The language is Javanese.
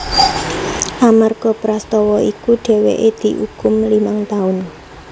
Amarga prastawa iku dheweke diukum limang taun